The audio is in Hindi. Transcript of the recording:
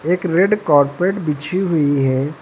एक रेड कारपेट बिछी हुई है।